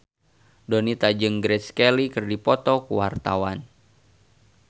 Donita jeung Grace Kelly keur dipoto ku wartawan